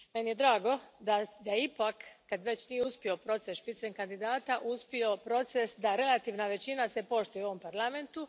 Meni je drago da je ipak, kad već nije uspio proces spitzenkandidata uspio proces da se relativna većina poštuje u ovom Parlamentu.